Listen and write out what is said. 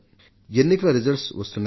ఎన్నికల ఫలితాలు వస్తున్నాయి